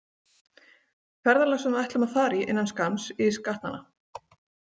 Ferðalög sem við ætlum að fara í innan skamms ys gatnanna.